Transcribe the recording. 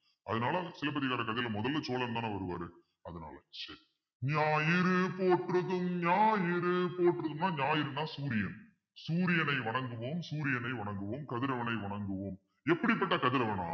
அதனால சிலப்பதிகாரக் கதையில முதல்ல சோழன்தானே வருவாரு அதனால சரி ஞாயிறு போற்றுதும் ஞாயிறு போற்றுதும்ன்னா ஞாயிறு தான் சூரியனை வணங்குவோம் சூரியனை வணங்குவோம் கதிரவனை வணங்குவோம் எப்படிப்பட்ட கதிரவன்னா